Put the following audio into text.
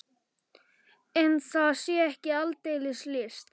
En það sé ekki aldeilis list.